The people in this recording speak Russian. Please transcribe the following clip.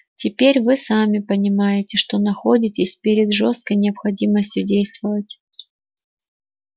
теперь вы сами понимаете что находитесь перед жёсткой необходимостью действовать